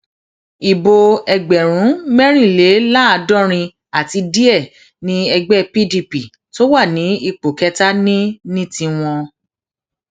ibo ẹgbẹrún mẹrìnléláàádọrin àti díẹ ni ẹgbẹ pdp tó wà ní ipò kẹta ní ní tiwọn